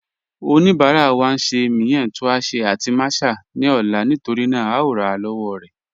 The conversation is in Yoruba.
Ọnibara wa n ṣẹ miyan tuásẹ̀ àti màsà ni ọ̀la nítorína à o rà lọ́wọ̀ rẹ̀